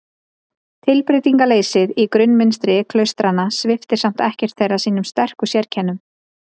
Tilbreytingarleysið í grunnmynstri klaustranna sviptir samt ekkert þeirra sínum sterku sérkennum.